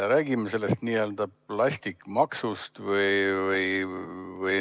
Räägime sellest plastikumaksust.